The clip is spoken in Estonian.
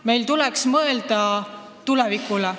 Meil tuleks mõelda tulevikule.